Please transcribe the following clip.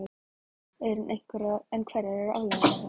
En hverjar eru afleiðingarnar?